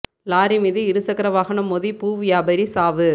lorry மீது இரு சக்கர வாகனம் மோதி பூ வியாபாரி சாவு